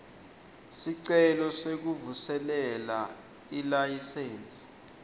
sicelo sekuvuselela ilayisensi